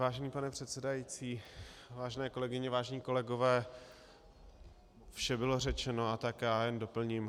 Vážený pane předsedající, vážené kolegyně, vážení kolegové, vše bylo řečeno, a tak já jen doplním.